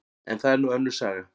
En það er nú önnur saga.